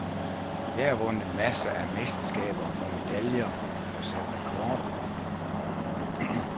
Jeg har vundet masser af mesterskaber og medaljer og sat rekorder.